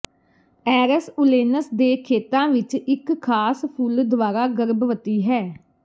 ਐਰਸ ਓਲੇਨਸ ਦੇ ਖੇਤਾਂ ਵਿਚ ਇਕ ਖਾਸ ਫੁੱਲ ਦੁਆਰਾ ਗਰਭਵਤੀ ਹੈ